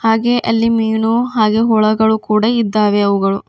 ಹಾಗೆ ಅಲ್ಲಿ ಮೀನು ಹಾಗೂ ಹುಳಗಳು ಕೂಡ ಇದ್ದಾವೆ ಅವುಗಳು.